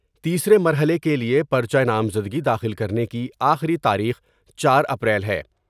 تیسرے مرحلے کے لئے پر چہ نامزدگی داخل کرنے کی آخری تاریخ چار اپریل ہے۔